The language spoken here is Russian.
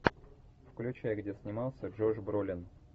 включай где снимался джош бролин